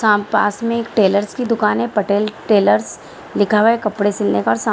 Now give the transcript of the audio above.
यहाँ पास में एक टेलर्स की दुकान है पटेल टेलर्स लिखा हुआ है कपड़े सिलने पर सा --